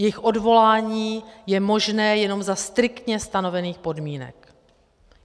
Jejich odvolání je možné jenom za striktně stanovených podmínek.